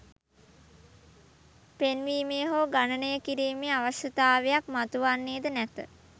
පෙන්වීමේ හෝ ගණනය කිරීමේ අවශ්‍යතාවයක් මතුවන්නේද නැත.